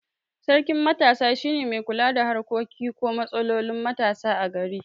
Sarkin matasa shine mai kula da harkokin ko matsalolin matasa a gari